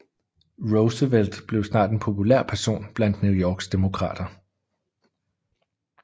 Roosevelt blev snart en populær person blandt New Yorks Demokrater